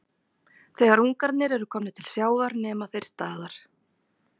Þegar ungarnir eru komnir til sjávar nema þeir staðar.